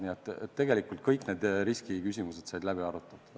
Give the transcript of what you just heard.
Nii et tegelikult kõik need riskiküsimused said läbi arutatud.